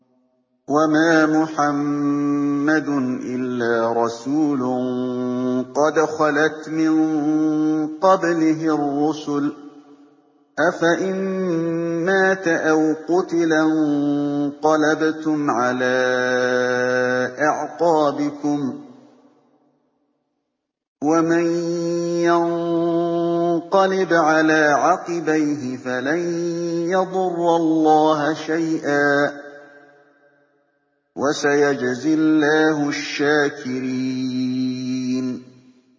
وَمَا مُحَمَّدٌ إِلَّا رَسُولٌ قَدْ خَلَتْ مِن قَبْلِهِ الرُّسُلُ ۚ أَفَإِن مَّاتَ أَوْ قُتِلَ انقَلَبْتُمْ عَلَىٰ أَعْقَابِكُمْ ۚ وَمَن يَنقَلِبْ عَلَىٰ عَقِبَيْهِ فَلَن يَضُرَّ اللَّهَ شَيْئًا ۗ وَسَيَجْزِي اللَّهُ الشَّاكِرِينَ